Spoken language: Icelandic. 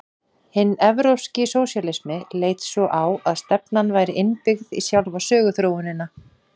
Hinn evrópski sósíalismi leit svo á að stefnan væri innbyggð í sjálfa söguþróunina.